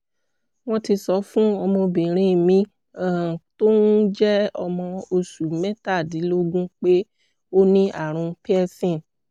wọ́n ti sọ fún ọmọbìnrin mi um tó um jẹ́ ọmọ oṣù mẹ́tàdínlógún pé ó ní ààrùn pearson